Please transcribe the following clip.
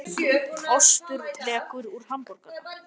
Í dag eru átta leikir á dagskrá og eru þrír þeirra í beinni útsendingu.